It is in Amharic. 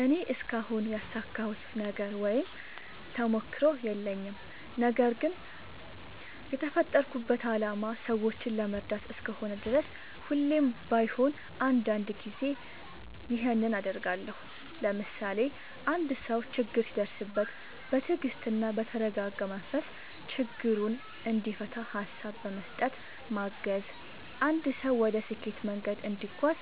እኔ እስካሁን ያሳካሁት ነገር ወይም ተሞክሮ የለኝም። ነገርግን የተፈጠርኩበት አላማ ሰዎችን ለመርዳት እስከሆነ ድረስ ሁሌም ባይሆን አንዳንድ ጊዜ ይኸንን አደርጋለሁ። ለምሳሌ፦ አንድ ሰው ችግር ሲደርስበት በትግስትና በተረጋጋ መንፈስ ችግሩን እንዲፈታ ሀሳብ በመስጠት ማገዝ፣ አንድ ሰው ወደ ስኬት መንገድ እንዲጓዝ